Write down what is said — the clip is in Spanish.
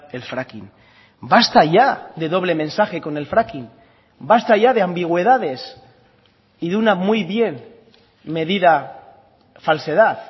el fracking basta ya de doble mensaje con el fracking basta ya de ambigüedades y de una muy bien medida falsedad